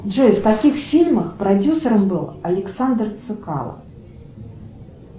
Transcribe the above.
джой в каких фильмах продюсером был александр цекало